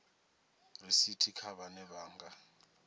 risithi kha vhane vha nga